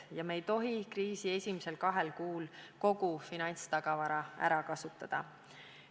Ja me ei tohi kriisi esimesel kahel kuul kogu finantstagavara ära kasutada.